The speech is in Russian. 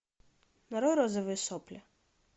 нарой розовые сопли